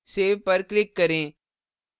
save पर click करें